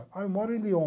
Ah, eu moro em Lyon.